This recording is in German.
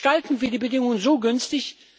Gestalten wir die Bedingungen so günstig?